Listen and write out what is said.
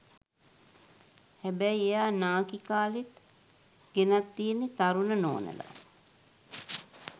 හැබැයි එයා නාකි කාලේත් ගෙනත් තියෙන්නේ තරුණ නෝනලා.